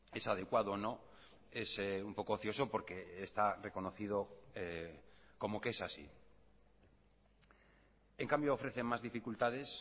es adecuado o no es un poco ocioso porque está reconocido como que es así en cambio ofrece más dificultades